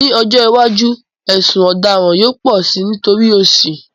Ní ọjọ́ iwájú, ẹ̀sùn ọ̀daràn yóò pọ̀ si nítorí òṣì